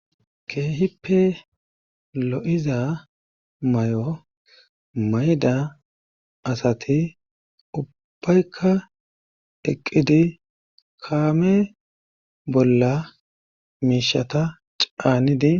keehippe lo7iza may7o mayda asati ubbaykka eqqidi kaame bolla miishata caanidi